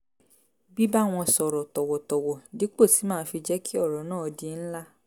bíbá wọn sọ̀rọ̀ tọ̀wọ̀tọ̀wọ̀ dípò tí màá fi jẹ́ kí ọ̀rọ̀ náà di ńlá